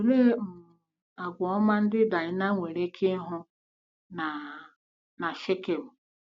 Olee um àgwà ọma ndị Daịna nwere ike ịhụ na na Shikem?